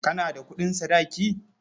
Kana da kuɗin sadaki?